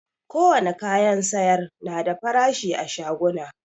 Ko wane kayan sayar na da farashi a shaguna